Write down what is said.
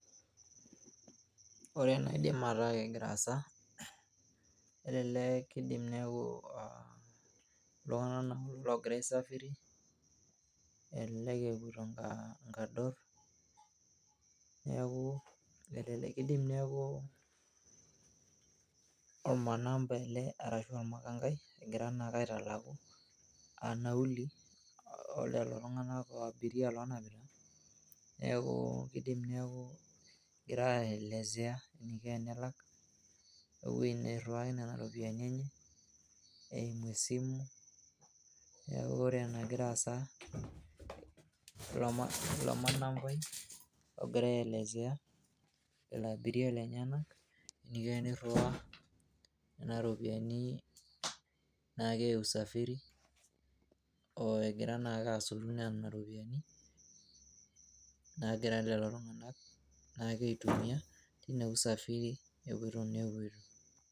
Ore enaidim ataa kegira aasa . Ore ene naa kidim ataa iltunganak logira aisafiri , elelek epoito inkador . Niaku elelek kidim niaku ormakanga ele arashu ormakangai ogira naake aitalaku aa nauli olelo tunganak, ashu abiria lonapita . Neeku kidim neaku egirae aelezea eniko tenelak ,ashu ewuei noriwaaa nena iropiyian enye eimu esimu.